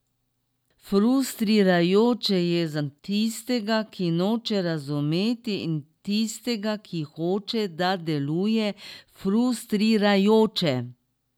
Frustrirajoče je za tistega, ki noče razumeti in tistega, ki hoče, da deluje frustrirajoče.